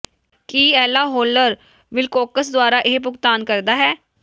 ਕੀ Ella Howler Wilcox ਦੁਆਰਾ ਇਹ ਭੁਗਤਾਨ ਕਰਦਾ ਹੈ